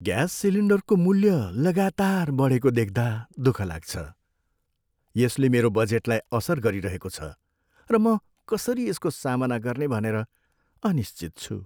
Gas सिलिन्डरको मूल्य लगातार बढेको देख्दा दुःख लाग्छ । यसले मेरो बजेटलाई असर गरिरहेको छ, र म कसरी यसको सामना गर्ने भनेर अनिश्चित छु।